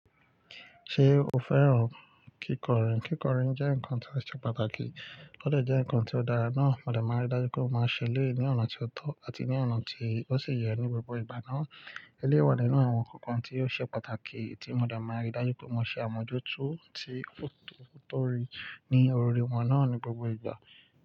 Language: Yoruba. Ṣé o fẹ́ràn kíkọrin? Kíkọrin jẹ́ ǹnkan tó ṣe pàtàkì, ó dè jẹ́ nǹkan tó dára náà, mo dà máa ń dájú pé ó máa ṣẹlẹ̀ ní ọ̀nà tí ó tọ́ àti ní ọ̀nà tí ó sì yẹ ní gbogbo ìgbà náà. Eléyii wa nínú àwọn ǹnkan kan tí ó ṣe pàtàkì tí mo de máa ń rí dájú pé mo ṣe àmójútó ti otoori ní òri wọn náà ní gbogbo ìgbà.